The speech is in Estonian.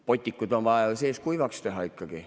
Botikud on vaja ju seest kuivaks teha ikkagi.